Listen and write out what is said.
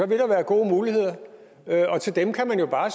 vil der være gode muligheder til dem kan man jo bare